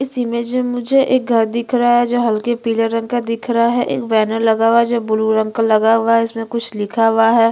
इस इमेज में मुझे एक घर दिख रहा है जो हल्के पीले रंग का दिख रहा है एक बैनर लगा हुआ है जो ब्लू रंग का लगा हुआ है इसमें कुछ लिखा हुआ है।